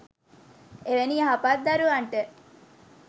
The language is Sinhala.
එවැනි යහපත් දරුවන්ට